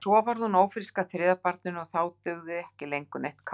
En svo varð hún ófrísk að þriðja barninu og þá dugði ekki lengur neitt kák.